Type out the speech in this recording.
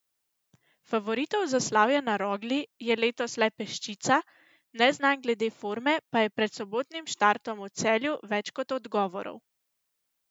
Favoritov za slavje na Rogli je letos le peščica, neznank glede forme pa je pred sobotnim štartom v Celju več kot odgovorov.